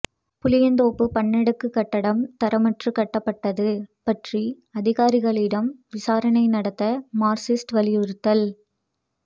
புளியந்தோப்பு பன்னடுக்குகட்டடம் தரமற்று கட்டப்பட்டது பற்றி அதிகாரிகளிடம் விசாரணை நடத்த மார்க்சிஸ்ட் வலியுறுத்தல்